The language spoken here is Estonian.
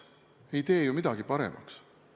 See ei tee midagi paremaks.